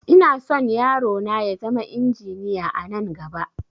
Inason yaro na ya zama injiniya anan gaba